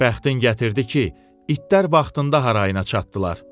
Bəxtin gətirdi ki, itlər vaxtında harayına çatdılar.